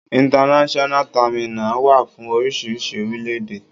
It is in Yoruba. International terminal wà fún oríṣiríṣi orílẹ̀-èdè.